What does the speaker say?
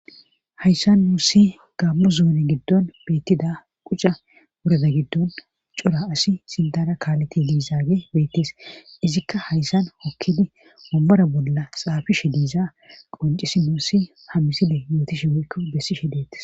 hayssan nuussi gammo zuuni giddon beittida qucca wurada giddon cora asi sindana kaaleti liizaage beettees izikka hayssan hokkidi ommora bolla xaafi she diiza qoncisi muussi hamiside yooti sheweykko bessi shedeetis